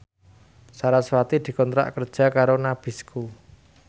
sarasvati dikontrak kerja karo Nabisco